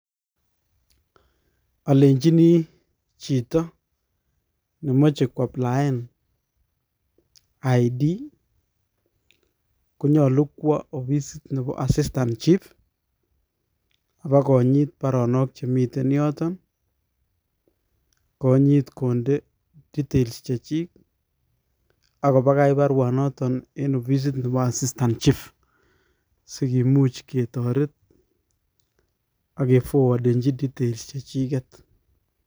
Alenchini chito ne mache kwaplien identity konyolu kwo ofisit nebo assistant chief, abokonyit baronok chemiten yoton, konyit konde details chechik, akokobakach baruanoton en ofisit nebo assistant chief, sikimuch ketoret ak ke fowadanchi details chechiket.